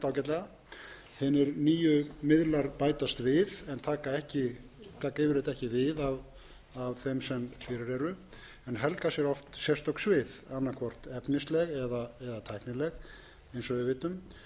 ágætlega hinir nýju miðlar bætast við en taka yfirleitt ekki við af þeim sem fyrir eru en helga sér oft sérstök svið annað hvort efnisleg eða